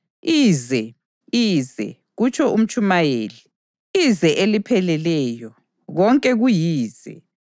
“Ize! Ize!” kutsho uMtshumayeli. “Ize elipheleleyo! Konke kuyize.”